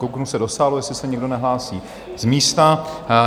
Kouknu se do sálu, jestli se někdo nehlásí z místa.